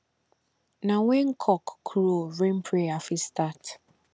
na when cock crow rain prayer fit start